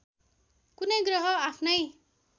कुनै ग्रह आफ्नै